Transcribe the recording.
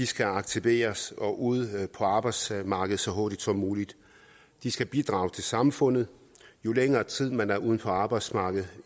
skal aktiveres og ud på arbejdsmarkedet så hurtigt som muligt de skal bidrage til samfundet jo længere tid man er uden for arbejdsmarkedet